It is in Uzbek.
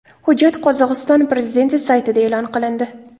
Hujjat Qozog‘iston prezidenti saytida e’lon qilindi .